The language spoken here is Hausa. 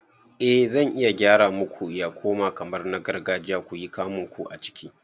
Eh zan iya gyara muku ya koma kamar na gargajiya kuyi kamunku a ciki